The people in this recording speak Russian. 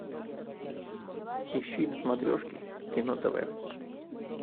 ищи на смотрешке кино тв